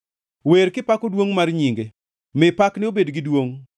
Wer kipako duongʼ mar nyinge; mi pakne obed gi duongʼ!